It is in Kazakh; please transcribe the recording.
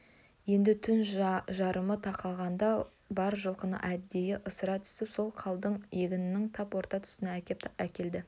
енді түн жарымы тақағанда бар жылқыны әдейі ысыра түсіп сол қалың егіннің тап орта тұсына тақап әкелді